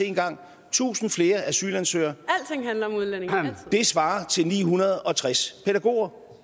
en gang tusind flere asylansøgere svarer til ni hundrede og tres pædagoger